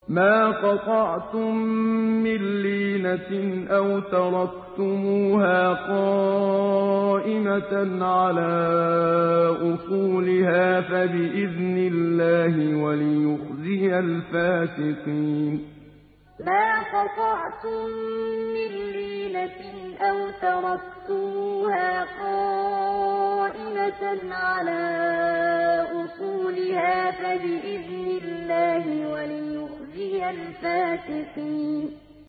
مَا قَطَعْتُم مِّن لِّينَةٍ أَوْ تَرَكْتُمُوهَا قَائِمَةً عَلَىٰ أُصُولِهَا فَبِإِذْنِ اللَّهِ وَلِيُخْزِيَ الْفَاسِقِينَ مَا قَطَعْتُم مِّن لِّينَةٍ أَوْ تَرَكْتُمُوهَا قَائِمَةً عَلَىٰ أُصُولِهَا فَبِإِذْنِ اللَّهِ وَلِيُخْزِيَ الْفَاسِقِينَ